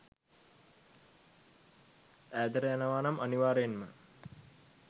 ඈතට යනවානම් අනිවාර්යයෙන්ම